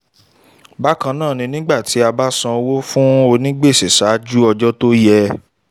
bákan náà ní nígbà tí a bá san owó fún ònígbèsè ṣáájú ọjọ́ tó yẹ